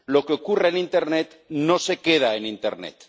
lo que ocurre en internet no se queda en internet.